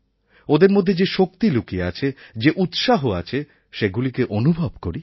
ওদের মধ্যে যে শক্তি লুকিয়ে আছে যে উৎসাহ আছে সেগুলিকে অনুভব করি